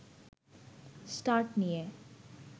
start নিয়ে